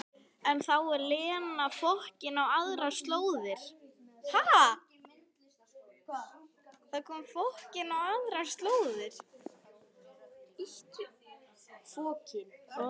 En þá er Lena fokin á aðrar slóðir.